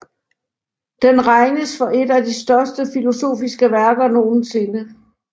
Den regnes for et af de største filosofiske værker nogensinde